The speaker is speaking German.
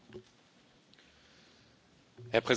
Herr Präsident, Frau Kommissarin!